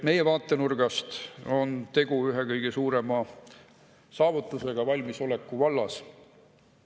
Meie vaatenurgast on tegu ühe kõige suurema saavutusega valmisoleku vallas.